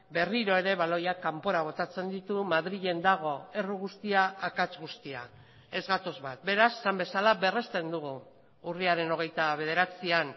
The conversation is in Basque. berriro ere baloiak kanpora botatzen ditu madrilen dago erru guztia akats guztia ez gatoz bat beraz esan bezala berresten dugu urriaren hogeita bederatzian